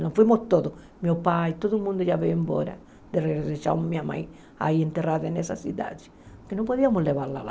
Nós fomos todos, meu pai, todo mundo já veio embora, deixamos minha mãe aí enterrada nessa cidade, porque não podíamos levá-la lá.